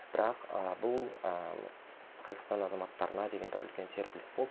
бірақ ы бұл ы қазақстан азаматтарына деген бір үлкен серпіліс болды